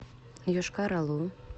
йошкар олу